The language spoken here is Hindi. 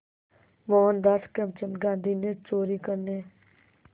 मोहनदास करमचंद गांधी ने चोरी करने